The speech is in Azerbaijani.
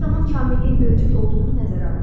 Hər zaman kamilliyin mövcud olduğunu nəzərə alın.